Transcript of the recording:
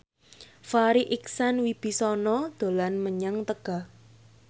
Farri Icksan Wibisana dolan menyang Tegal